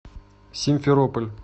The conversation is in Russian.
симферополь